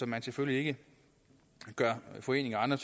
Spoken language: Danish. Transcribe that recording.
man selvfølgelig ikke gør foreninger og andre